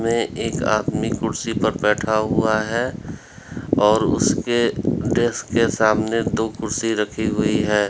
ये एक आदमी कुर्सी पर बैठा हुआ है और उसके डेस्क के सामने दो कुर्सी रखी हुई है।